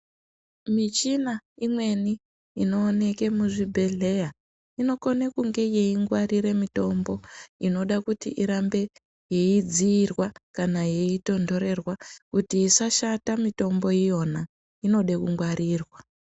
Michina imweni inooneke muzvibhadyeya inokone kunge yeingwarira mitombo inoda kuti irambe yeidziirwa kana yeitondorerwa, kuti yisashata mitombo yiyona inode kungwarirwa.